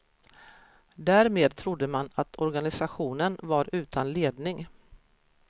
Därmed trodde man att organisationen var utan ledning.